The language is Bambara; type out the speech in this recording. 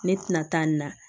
Ne tɛna taa nin na